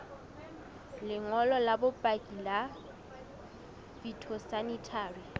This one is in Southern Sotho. lengolo la bopaki la phytosanitary